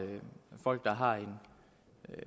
folk der har en